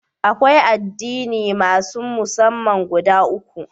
Akwai addini masun massama guda uku.